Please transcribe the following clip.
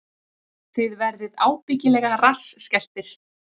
Þið verðið ábyggilega rassskelltir